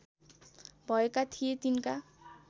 भएका थिए तिनका